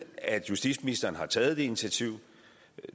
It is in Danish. at justitsministeren har taget det initiativ